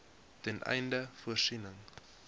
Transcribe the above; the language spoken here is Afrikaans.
ten einde voorsiening